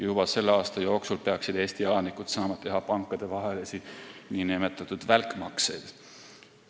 Juba selle aasta jooksul peaksid Eesti elanikud saama teha pankadevahelisi nn välkmakseid.